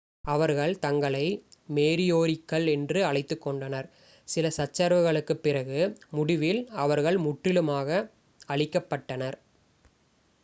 அவர்கள் தங்களை மோரியோரிக்கள் என்று அழைத்துக் கொண்டனர் சில சச்சரவுகளுக்குப் பிறகு முடிவில் அவர்கள் முற்றிலுமாக அழிக்கப் பட்டனர்